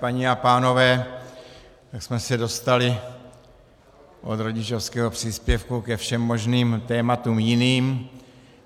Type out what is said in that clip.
Paní a pánové, my jsme se dostali od rodičovského příspěvku ke všem možným tématům jiným.